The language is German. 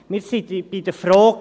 Wir sind bei der Frage: